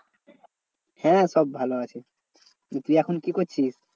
হ্যাঁ সব ভালো আছে। দিয়ে তুই এখন কি করছিস?